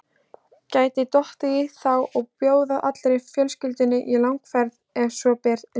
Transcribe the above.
Gæti dottið í þá að bjóða allri fjölskyldunni í langferð ef svo ber undir.